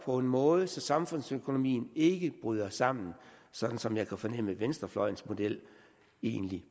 på en måde så samfundsøkonomien ikke bryder sammen sådan som jeg kan fornemme at venstrefløjens model egentlig